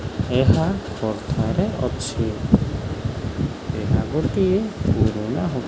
ଏହା କଥାରେ ଅଛି ଏହା ଗୋଟିଏ ପୁରୁଣା ହ --